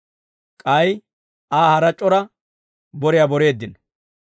K'ay Aa hara c'ora boriyaa boreeddino.